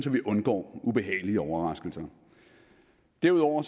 vi undgår ubehagelige overraskelser derudover